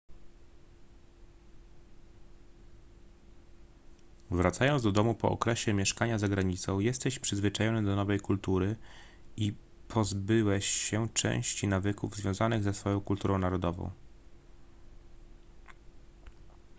wracając do domu po okresie mieszkania za granicą jesteś przyzwyczajony do nowej kultury i pozbyłeś się części nawyków związanych ze swoją kulturą narodową